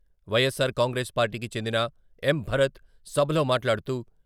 Y S are Congress పార్టీకి చెందిన ఎం.భరత్ సభలో మాట్లాడుతూ.....